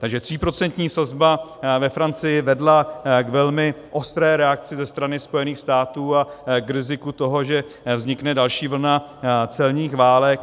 Takže tříprocentní sazba ve Francii vedla k velmi ostré reakci ze strany Spojených států a k riziku toho, že vznikne další vlna celních válek.